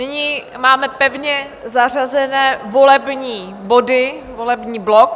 Nyní máme pevně zařazené volební body, volební blok.